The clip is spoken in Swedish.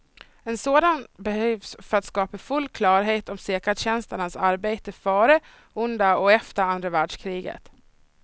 En sådan behövs för att skapa full klarhet om säkerhetstjänsternas arbete före, under och efter andra världskriget.